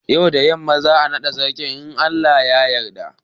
Yau da yamma za'a naɗa sarakan in Allah ya yadda.